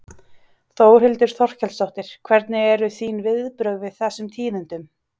Þórhildur Þorkelsdóttir: Hvernig eru þín viðbrögð við þessum tíðindum?